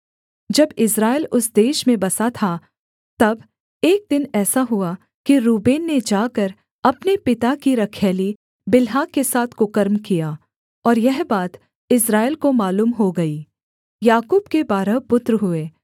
जब इस्राएल उस देश में बसा था तब एक दिन ऐसा हुआ कि रूबेन ने जाकर अपने पिता की रखैली बिल्हा के साथ कुकर्म किया और यह बात इस्राएल को मालूम हो गई याकूब के बारह पुत्र हुए